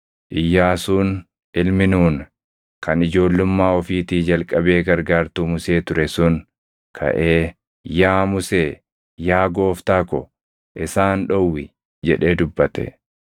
Iyyaasuun ilmi Nuuni kan ijoollummaa ofiitii jalqabee gargaartuu Musee ture sun kaʼee, “Yaa Musee, yaa gooftaa ko, isaan dhowwi!” jedhee dubbate.